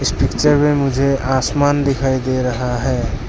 Picture में मुझे आसमान दिखाई दे रहा है।